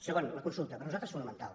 segon la consulta per nosaltres fonamental